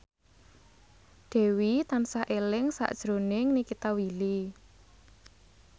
Dewi tansah eling sakjroning Nikita Willy